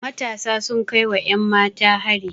Matasa sun kai wa 'yanmata hari.